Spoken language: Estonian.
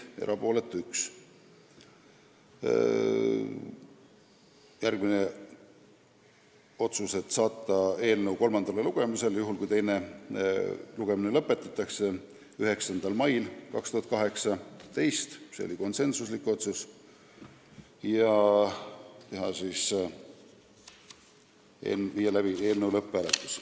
Järgmine otsus oli saata eelnõu kolmandale lugemisele, juhul kui teine lugemine lõpetatakse, 9. maiks 2018 ja viia läbi lõpphääletus.